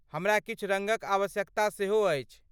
हमरा किछु रङ्गक आवश्यकता सेहो अछि।